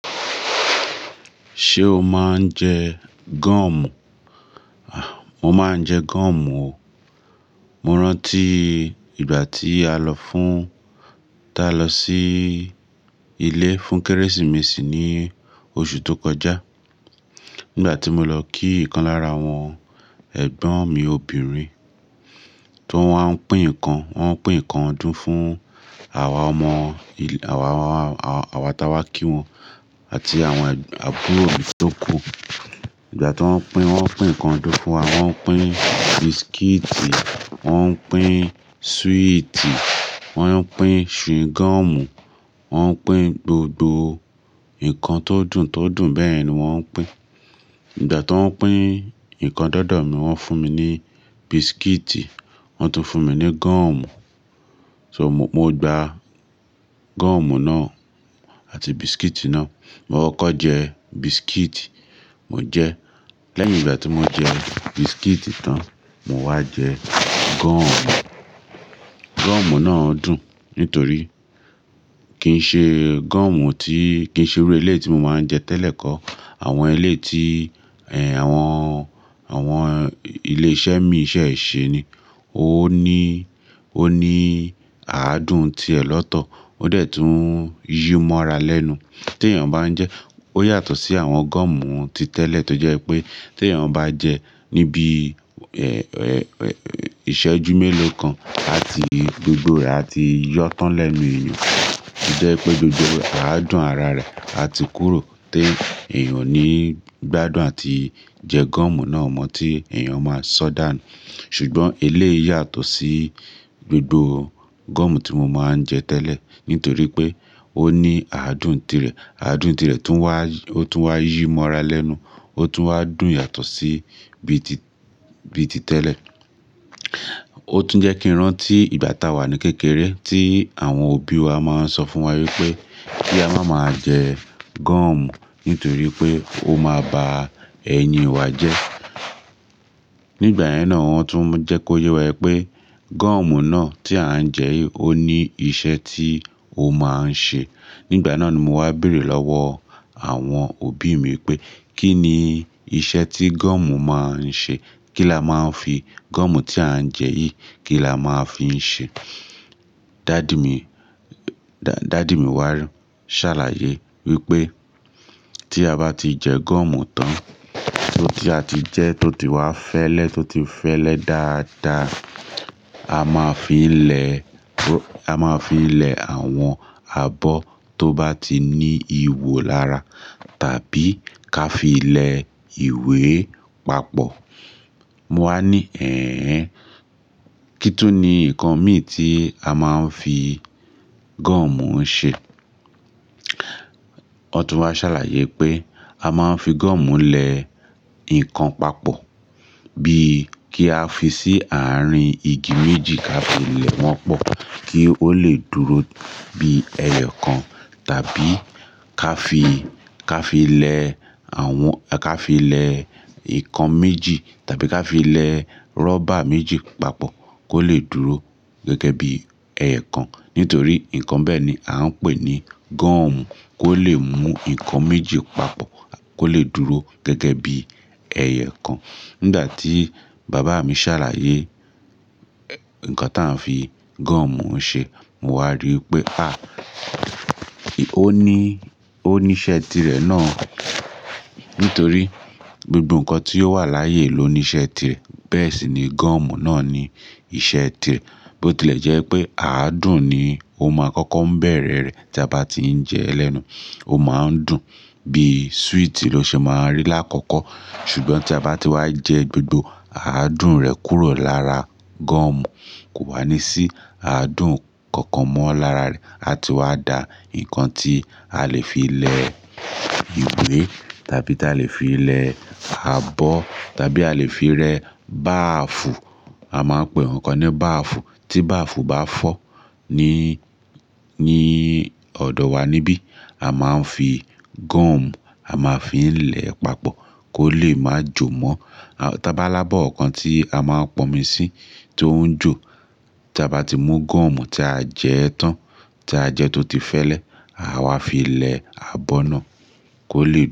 Ṣé o máa ń jẹ gum? Mo máa ń jẹ gum o. Mo rántí ìgbà tí a lọ fún, táa lọ sí ilé fún Kérésìmesì ní oṣù tó kọjá. Nígbà tí mo lọ kí ìkan lára àwọn ẹ̀gbọ́n mi obìnrin, tọ́ wáa ń pín ǹkan, wọ́n pín ǹkan ọdún fún àwa ọmọ, àwa, àwa táa wá kí wọn àti àwọn àbúrò mi tó kù. Ìgbà tí wọ́n pín, wọ́n pín ǹkan ọdún fún wa, wọ́n pín biscuit, wọ́n pín sweet, wọ́n pín chewing gum, wọ́n pín gbogbo ǹkan tó dùn, tó dùn bẹ́ẹ̀ yẹn ni wọ́n pín. Ìgbà tí wọ́n pín ǹkan dọ́dọ̀ mi, wọ́n fún mi ní biscuit, wọ́n tún fún mi ní gum. So, mo gba gum náà àti biscuit náà. Mo kọ́kọ́ jẹ biscuit, mo jẹ́. Lẹ́yìn ìgbà tí mo jẹ biscuit tán, mo wá jẹ gum. Gum náà dùn nítorí kì í ṣe gum tí, kì í ṣe irú eléyìí tí mo máa ń jẹ tẹ́lẹ̀ kọ́. Àwọn eléyìí tí, ẹn, àwọn, àwọn ilé iṣẹ́ míì ṣẹ̀ ṣe ni, ó ní, ó ní àádùn tirẹ̀ lọ́tọ̀, ó dẹ̀ tún yí mọ́ra lẹ́nu tí èèyàn bá ń jẹ ẹ́. Ó yàtọ̀ sí àwọn gum ti tẹ́lẹ̀ tó jẹ́ pé tí èèyàn bá jẹ níbí i, ẹ, ẹ, ẹ, ìṣẹ́jú mélòó kan àti gbogbo rẹ̀ á ti yọ́ tán lẹ́nu èèyàn. Ó jẹ́ pé gbogbo àádùn ara rẹ̀ á ti kúrò tí èèyàn ò ní gbádùn àti jẹ gum náà mọ́ tí èèyàn máa ṣọ́dàànù. Ṣùgbọ́n eléyìí yàtọ̀ sí gbogbo gum tí mo máa ń jẹ tẹ́lẹ̀ nítorí pé ó ní àádùn tirẹ̀. Àádùn tirẹ̀ tún wá, ó tún wá yí mọ́ra lẹ́nu, ó tún wá dùn yàtọ̀ sí bí i ti, bí i ti tẹ́lẹ̀. Ó tún jẹ́ kí n rántí ìgbà táa wà ní kékeré tí àwọn òbí wa máa ń sọ fún wa wípé kí a má maa jẹ gum nítorí pé ó máa ba ẹyín wa jẹ́. Nígbà yẹn náà wọ́n tún jẹ́ kó yé wa wípé gum náà tí à ń jẹ yìí ó ní iṣẹ́ tí ó máa ń ṣe. Nígbà náà ni mo wá béèrè lọ́wọ́ àwọn òbí mi pé kí ni iṣẹ́ tí gum máa ń ṣe? Kí la máa ń fi gum tí à ń jẹ yìí, kí la máa ń fi ń ṣe? Dádì mi, dá-dádì mi wá sàlàyé wípé tí a bá ti jẹ gum tán, tó ti a ti jẹ́ tó ti wá fẹ́lẹ́, tó ti fẹ́lẹ́ dáadáa, a máa fi ń lẹ, a máa fi ń lẹ àwọn abọ́ tó bá ti ní ihò lára tàbí ká fi lẹ ìwé papọ̀. Mo wá ní, "ẹ̀ẹ̀ hẹ́n, kí tún ni nǹkan míì tí a máa ń fi gum ń ṣe?" Wọ́tún wá sàlàyé pé a máa ń fi gum lẹ ǹkan papọ̀, bíi kí á fi sí àárín igi méjì ká fi lẹ̀ wọ́n pọ̀ kí ó lè dúró bí ẹyọ̀ kan tàbí ká fi, ká fi lẹ àwọn, ká fi lẹ ǹkan méjì tàbí ká fi lẹ rọ́bà méjì papọ̀ kó lè dúró gẹ́gẹ́ bí ẹyọ̀ kan nítorí ǹkan bẹ́ẹ̀ ni a ń pè ní gum, kó lè mú ǹkan méjì papọ̀, kó lè dúró gẹ́gẹ́ bí ẹyọ̀ kan. Nígbà tí bàbá mi ṣàlàyé ǹkan tí a ń fi gum ń ṣe, mo wá rí wípé à, ó ní, ó ní iṣẹ́ tirẹ̀ náà nítorí gbogbo ǹkan tí ó wà láyé ló ní iṣẹ́ tirẹ̀. Bẹ́ẹ̀ sì ni gum náà ní iṣẹ́ tirẹ̀ bó tilẹ̀ jẹ́ pé àádùn ni ó ma kọ́kọ́ ń bẹ̀rẹ̀ẹ rẹ̀ tí a bá ti ń jẹ ẹ́ lẹ́nu. Ó máa ń dùn bí sweet ló ṣe máa ń rí lákọ̀ọ́kọ́. Ṣùgbọ́n tí a bá ti wá jẹ gbogbo àádùn rẹ̀ kúrò lára gum, kò wá ní sí àádùn kankan mọ́ lára rẹ̀. Á ti wá da ǹkan tí a lè fi lẹ ìwé tàbí tí a lè fi lẹ abọ́ tàbí a lè fi rẹ báàfù. A máa ń pe ǹkankan ní báàfù. Tí báàfù bá fọ́ ní, ní ọ̀dọ̀ wa níbí, a máa ń fi gum a máa fi ń lẹ̀ ẹ́ papọ̀ kó lè má jò ó mọ́. Tabá lábọ́ kankan tí a ma ń pọnmi sí tó ń jò, tí a bá ti mú gum tí a jẹ ẹ́ tán, tí a jẹ tó ti fẹ́lẹ́, àáwá fi lẹ abọ́ náà kó lè.